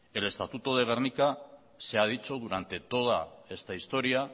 el estatuto de gernika se ha dicho durante toda esta historia